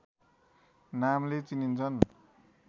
नामले चिनिन्छिन्